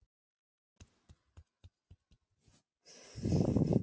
Smásjármynd af kísilþörungum.